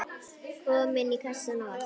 Komin í kassann og allt.